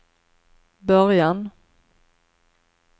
början